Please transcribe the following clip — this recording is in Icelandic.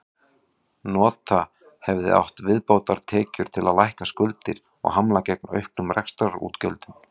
Nota hefði átt viðbótartekjur til að lækka skuldir og hamla gegn auknum rekstrarútgjöldum.